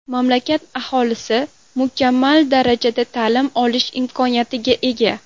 Mamlakat aholisi mukammal darajada ta’lim olish imkoniyatiga ega.